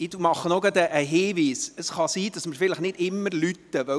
Ich mache noch einen Hinweis: